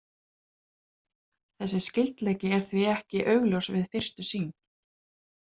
Þessi skyldleiki er því alls ekki augljós við fyrstu sýn.